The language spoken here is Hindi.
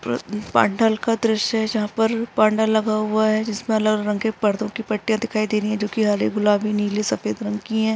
प्र पंडाल का दृश्य है जहाँ पर पंडाल लगा हुआ है जिसमे अलग-अलग रंग के पर्दों की पट्टीया दिखाई दे रही है जो की हरे गुलाबी नीले सफ़ेद रंग की है।